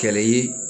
Kɛlɛ ye